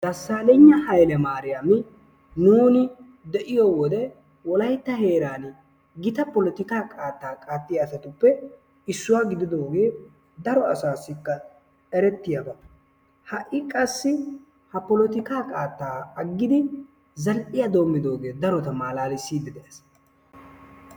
Dasaleyiyna Hayle Mariami nuuni deiyo wode wolaytta heeran gita polotikka qaattaa qattiya asatuppe issuwa gididogee daro asaassikka erettiyaba. Ha"i qassi ha polotikka qaattaa aggidi zal'iyaa dommidoge darota maalaalissidi de'ees.